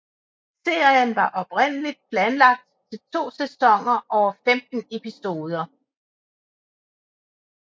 Serien var oprindeligt planlagt til to sæsoner over 15 episoder